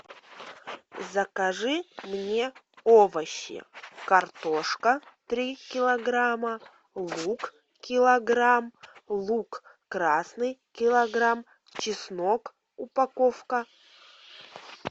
закажи мне овощи картошка три килограмма лук килограмм лук красный килограмм чеснок упаковка